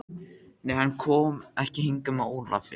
Nei, hann kom ekki hingað með Ólafi.